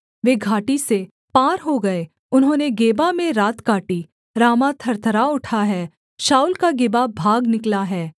वे घाटी से पार हो गए उन्होंने गेबा में रात काटी रामाह थरथरा उठा है शाऊल का गिबा भाग निकला है